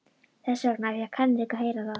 Þess vegna fékk Henrik að heyra það.